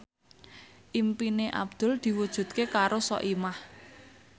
impine Abdul diwujudke karo Soimah